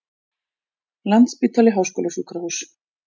Landspítali Háskólasjúkrahús.